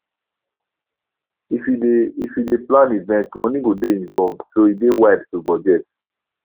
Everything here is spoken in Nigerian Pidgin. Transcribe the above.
if you dey if you dey plan event money go dey involved so e dey wide to budget